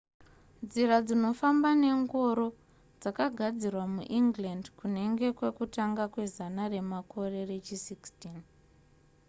nzira dzinofamba nengoro dzakagadzirwa muengland kunenge kwekutanga kwezana remakore rechi 16